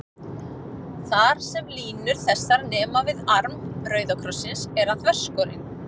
Þar, sem línur þessar nema við arm rauða krossins, er hann þverskorinn.